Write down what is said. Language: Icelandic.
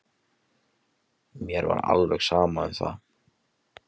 Mér var alveg sama um það.